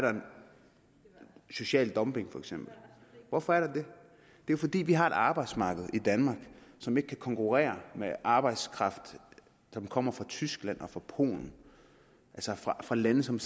social dumping hvorfor er der det det er fordi vi har et arbejdsmarked i danmark som ikke kan konkurrere med arbejdskraft som kommer fra tyskland og fra polen altså fra lande som